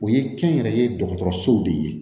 O ye kɛnyɛrɛye dɔgɔtɔrɔsow de ye